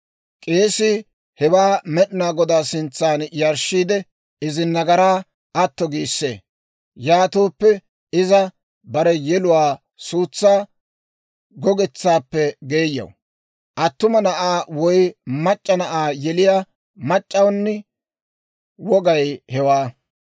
K'eesii hewaa Med'inaa Godaa sintsan yarshshiide, izi nagaraa atto giissee; yaatooppe iza bare yeluwaa suutsaa gogetsaappe geeyaw. Attuma na'aa woy mac'c'a na'aa yeliyaa mac'c'awuni wogay hewaa.